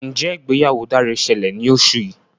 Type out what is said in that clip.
Njé ìgbéyàwó Dare ṣẹlẹ ní oṣù yí.